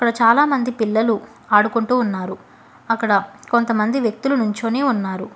చాలామంది పిల్లలు ఆడుకుంటూ ఉన్నారు అక్కడ కొంతమంది వ్యక్తులు నుంచొని ఉన్నారు.